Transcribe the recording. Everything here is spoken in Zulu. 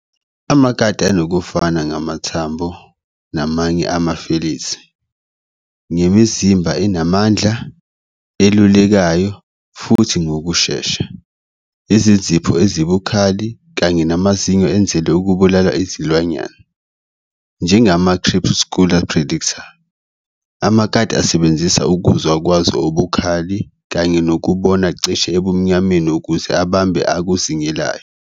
Amakati anokufana ngamathambo namanye ama-felids, ngemizimba enamandla, elulekayo, futhi ngokushesha, izinzipho ezibukhali, kanye namazinyo enzelwe ukubulala izilwanyana. Ngengama-crepuscular predator, amakati asebenzisa ukuzwa kwazo okubukhali kanye nokubona cishe ebumnyameni ukuzi abambe akuzingelayo.